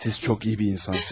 Siz çox iyi bir insansınız.